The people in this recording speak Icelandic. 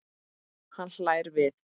Hann hlær við.